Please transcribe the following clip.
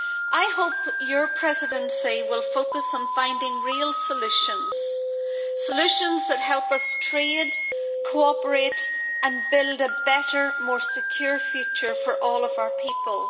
I hope your Presidency, Prime Minister, will focus on finding real solutions, solutions that help us trade, cooperate and build a better, more secure future for all of our people.